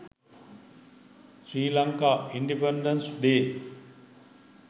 sri lanka independence day